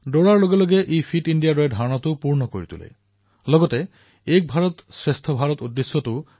দৌৰাৰ জৰিয়তে ফিট ইণ্ডিয়াৰ উদ্দেশ্য চৰিতাৰ্থ কৰাৰ লগতে এক ভাৰতশ্ৰেষ্ঠ ভাৰতৰ উদ্দেশ্যও সাধিত হয়